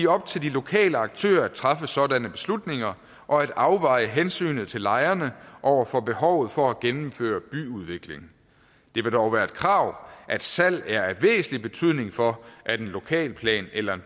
op til de lokale aktører at træffe sådanne beslutninger og at afveje hensynet til lejerne over for behovet for at gennemføre byudvikling det vil dog være et krav at salg er af væsentlig betydning for at en lokalplans eller